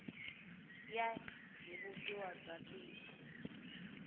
ya hi vumbiwa bya tiko